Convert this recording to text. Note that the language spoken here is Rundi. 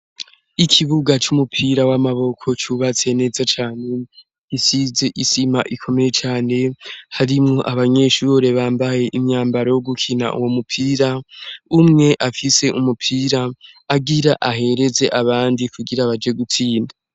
Ikibuga c'umupira w'amaboko cubatse neza cane isize isima ikomeye cane harimwo abanyeshure bambaye imyambaro yo gukina uwo mupira umwe afise umupira agira ahereze abandi kugira baje gutsinda.